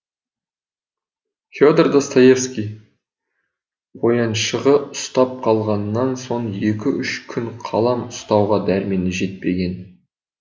федор достоевский қояншығы ұстап қалғаннан соң екі үш күн қалам ұстауға дәрмені жетпеген